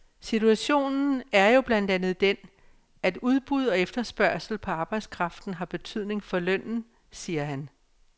Situationen er jo blandt andet den, at udbud og efterspørgsel på arbejdskraften har betydning for lønnen, siger han.